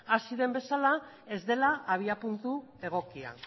hasi den bezala ez dela sistema egokia